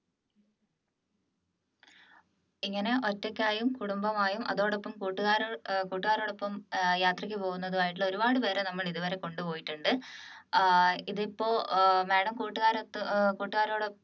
ഇങ്ങനെ ഒറ്റയ്ക്കായും കുടുംബവുമായും അതോടൊപ്പം കൂട്ടുകാരോ ഏർ കൂട്ടുകാരോടൊപ്പം ഏർ യാത്രയ്ക്ക് പോകുന്നതായിട്ടുള്ള ഒരുപാട് പേരെ ഞങ്ങൾ ഇതുവരെ കൊണ്ടുപോയിട്ടുണ്ട് ഏർ ഇതിപ്പോ ഏർ madam കൂട്ടുകാരോടൊത്ത് ഏർ കൂട്ടുകാരോട്